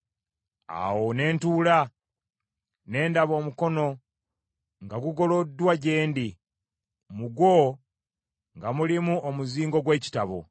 Awo ne ntunula, ne ndaba omukono nga gugoloddwa gye ndi, mu gwo nga mulimu omuzingo gw’ekitabo.